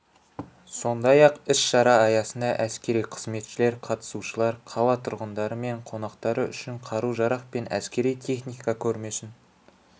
сондай-ақ іс-шара аясында әскери қызметшілер қатысушылар қала тұрғындары мен қонақтары үшін қару-жарақ пен әскери техника көрмесін